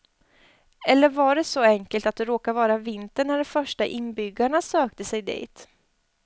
Eller var det så enkelt att det råkade vara vinter när de första inbyggarna sökte sig dit.